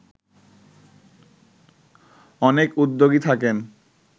অনেক উদ্যোগী থাকেন